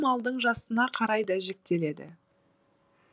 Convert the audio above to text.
малдың жасына қарай да жіктеледі